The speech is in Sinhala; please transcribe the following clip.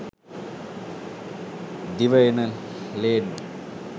දිව එන ලේන්නු